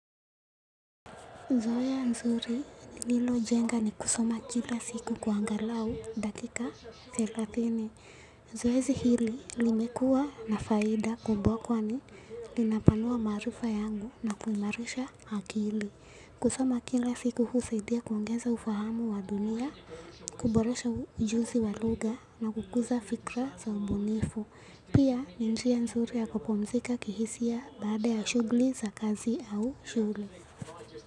Zoea nzuri nililojenga ni kusoma kila siku kwa angalau dakika thelathini zoezi hili limekuwa na faida kubwa kwani linapanua maarifa yangu na kuimarisha akili. Kusoma kila siku husaidia kuongeza ufahamu wa dunia. Kuboresha ujuzi wa lugha na kukuza fikra za ubunifu. Pia ni njia nzuri ya kupumzika kihisia baada ya shughuli za kazi au shule.